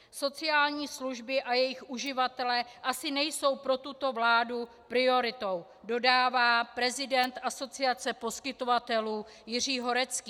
Sociální služby a jejich uživatelé asi nejsou pro tuto vládu prioritou, dodává prezident Asociace poskytovatelů Jiří Horecký.